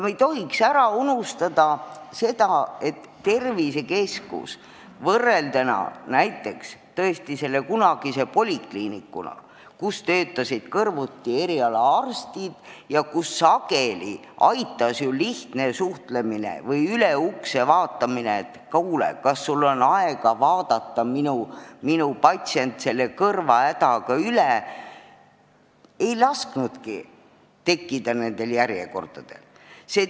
Me ei tohiks tervisekeskust polikliinikuga võrreldes ära unustada, et näiteks selles kunagises polikliinikus töötasid kõrvuti eriarstid ja sageli aitas seal ju lihtne suhtlemine või üle ukse vaatamine, et kuule, kas sul on aega vaadata üle minu patsient, kellel on kõrvahäda, ja see ei lasknudki järjekordadel tekkida.